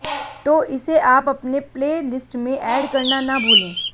तो इसे आप अपने प्ले लिस्ट में ऐड करना न भूले